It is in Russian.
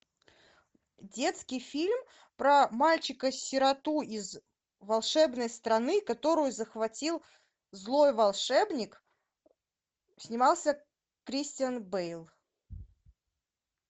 детский фильм про мальчика сироту из волшебной страны которую захватил злой волшебник снимался кристиан бейл